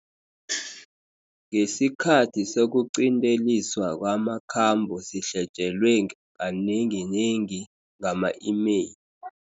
Ngesikhathi sokuqinteliswa kwamakhambo sihletjelwe kanenginengi ngama-imeyili.